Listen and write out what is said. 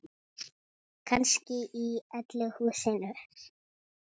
Kannski í öllu húsinu.